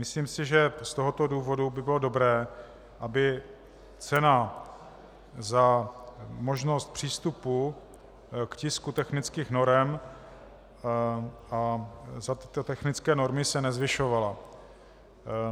Myslím si, že z tohoto důvodu by bylo dobré, aby cena za možnost přístupu k tisku technických norem a za tyto technické normy se nezvyšovala.